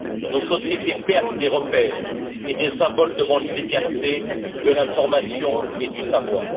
Nos sociétés perdent des repères et des symboles devant l'immédiateté de l'information et du savoir.